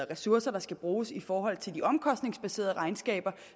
ressourcer der skal bruges i forhold til de omkostningsbaserede regnskaber